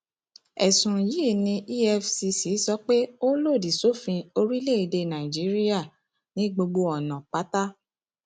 ẹsùn yìí ni efccso pé ó lòdì sófin orílẹèdè nàíjíríà ní gbogbo ọnà pátá